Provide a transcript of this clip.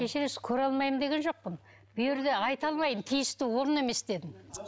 кешірерсіз көре алмаймын деген жоқпын бұл жерде айта алмаймын тиісті орын емес дедім